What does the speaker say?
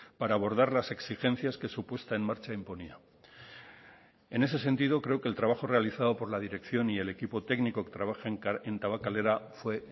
para abordar las exigencias que su puesta en marcha imponía en ese sentido creo que el trabajo realizado por la dirección y el equipo técnico que trabaja en tabakalera fue